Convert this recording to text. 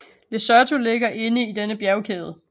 Lesotho ligger inde i denne bjergkæde